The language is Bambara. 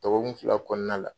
Dɔgɔkun fila kɔnɔna la